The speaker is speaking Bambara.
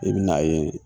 I bɛ n'a ye